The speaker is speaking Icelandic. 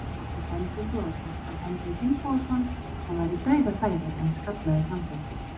Hann átti sendingu á Kjartan Henry Finnbogason sem var í dauðafæri en skallaði framhjá.